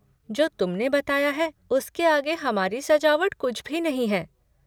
जो तुमने बताया है उसके आगे हमारी सजावट कुछ भी नहीं है।